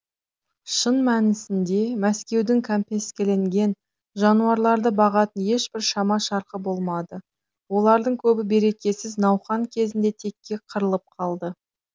шын мәнісінде мәскеудің кәмпескеленген жануарларды бағатын ешбір шама шарқы болмады олардың көбі берекесіз науқан кезінде текке қырылып қалды